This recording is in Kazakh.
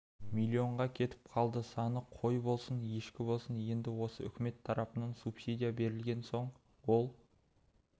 миллионға кетіп қалды саны қой болсын ешкі болсын енді осы үкімет тарапынан субсидия берілген соң ол